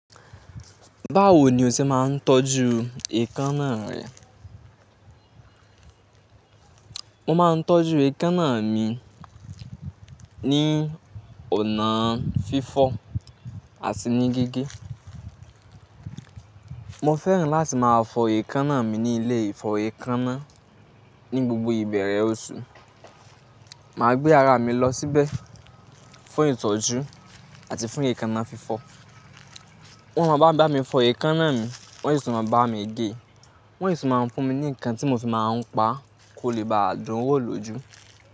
Báwo ni o ṣe máa ń tọ́jú eekanna rẹ? Mo máa ń tọ́jú eekanna mi ní ọ̀nà fífọ̀ àti ní gíge. Mo fẹ́ràn láti máa fọ eekanna mi ní ilé-ìfọ̀ ẹkánnà ní gbogbo ìbẹ̀rẹ̀ oṣù. Màá gbé ara mi lọ síbẹ̀ fún ìtọ́jú àti fún eekanna fífọ̀. Wọ́n máa bá mi fọ eekanna mi, wọ́n sì máa bá mi gé wọ́n sì máa fún mi ní nǹkan tí mo fi máa ń pá kó lè ba àdún wọ̀ lójú.